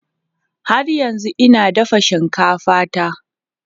Har yanzu ina dafa shinkafa ta.